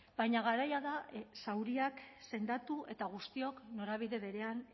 baina garaia da zauriak sendatu eta guztiok norabide berean